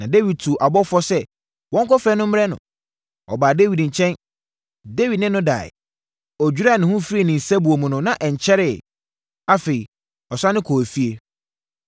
Na Dawid tuu abɔfoɔ sɛ wɔnkɔfrɛ no mmrɛ no. Ɔbaa Dawid nkyɛn. Dawid ne no daeɛ. (Ɔdwiraa ne ho firii ne nsabuo mu no, na ɛnkyɛreɛ.) Afei, ɔsane kɔɔ efie.